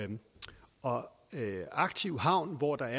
og aktiv havn hvor der